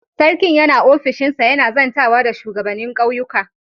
Sarkin yana ofishinsa yana zantawa da shugabanin ƙauyuka.